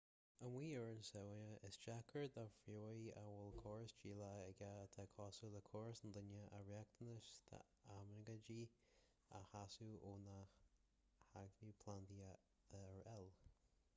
amuigh ar an sabhána is deacair do phríomhaí a bhfuil córas díleá aige atá cosúil le córas an duine a riachtanais d'aimíonaigéid a shásamh ó na hacmhainní plandaí atá ar fáil